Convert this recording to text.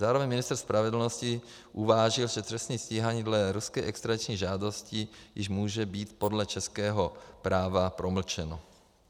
Zároveň ministr spravedlnosti uvážil, že trestní stíhání dle ruské extradiční žádosti již může být podle českého práva promlčeno.